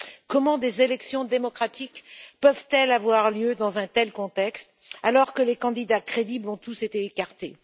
Comment des élections démocratiques peuvent elles avoir lieu dans un tel contexte, alors que les candidats crédibles ont tous été écartés?